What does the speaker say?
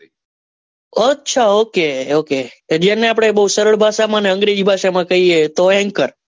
અચ્છા okay okay અને એને પણ આપડે સરળ ભાષા માં અને અંગ્રેજી ભાષા માં કહીએ તો anchor